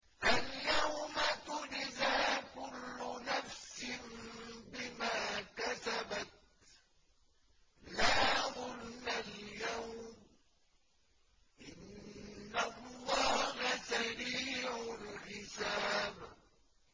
الْيَوْمَ تُجْزَىٰ كُلُّ نَفْسٍ بِمَا كَسَبَتْ ۚ لَا ظُلْمَ الْيَوْمَ ۚ إِنَّ اللَّهَ سَرِيعُ الْحِسَابِ